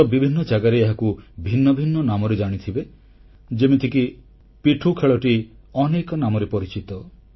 ହୁଏତ ବିଭିନ୍ନ ଜାଗାରେ ଏହାକୁ ଭିନ୍ନ ଭିନ୍ନ ନାମରେ ଜାଣିଥିବେ ଯେମିତିକି ପିଠ୍ଠୁ ଖେଳଟି ଅନେକ ନାମରେ ପରିଚିତ